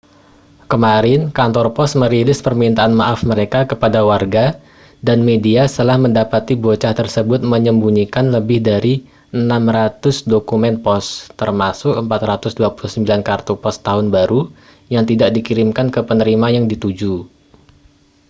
kemarin kantor pos merilis permintaan maaf mereka kepada warga dan media setelah mendapati bocah tersebut menyembunyikan lebih dari 600 dokumen pos termasuk 429 kartu pos tahun baru yang tidak dikirimkan ke penerima yang dituju